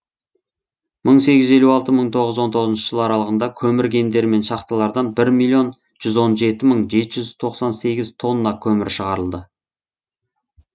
мың сегіз жүз елу алты мың тоғыз жүз он тоғызыншы жылы аралығында көмір кендері мен шахталардан бір миллион жүз он жеті мың жеті жүз тоқсан сегіз тонна көмір шығарылды